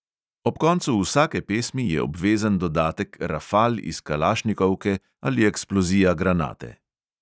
Ob koncu vsake pesmi je obvezen dodatek rafal iz kalašnikovke ali eksplozija granate.